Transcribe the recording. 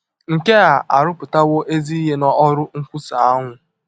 Nke a arụpụtawo ezi ihe n’ọrụ nkwusa ahụ.